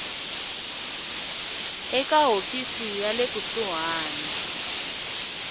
eka hofisi ya le kusuhani